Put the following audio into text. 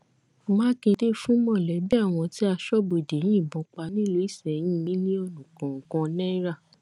mákindé fún mọlẹbí àwọn tí aṣọbodè yìnbọn pa nílùú isẹyìn mílíọnù kọọkan náírà